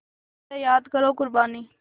ज़रा याद करो क़ुरबानी